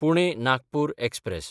Pune-Nagpur express